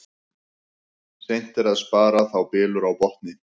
Seint er að spara þá bylur á botni.